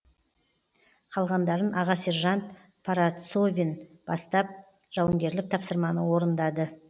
қалғандарын аға сержант парацовин бастап жауынгерлік тапсырманы орындады